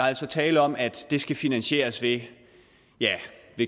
er tale om at det skal finansieres via